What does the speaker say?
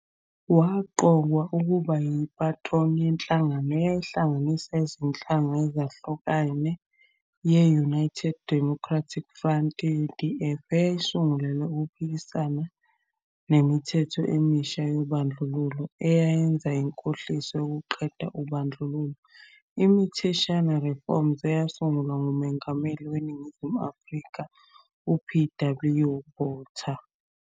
Waqokwa ukuba yi-patron yenhlangano eyayihlanganisa izinhlanga ezehlukene ye- United Democratic Front, UDF, eyayisungulelwe ukuphikisana namithetho emisha yobandlululo eyayenza inkohliso yokuqeda ubandlululo, imitheshwana, reforms, eyasungulwa nguMongameli weNingizimu Afrika, u-P. W. Botha.